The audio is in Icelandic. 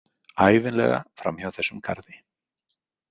Ævinlega framhjá þessum garði.